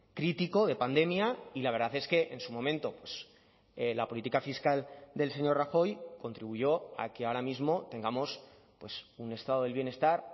crítico de pandemia y la verdad es que en su momento la política fiscal del señor rajoy contribuyó a que ahora mismo tengamos un estado del bienestar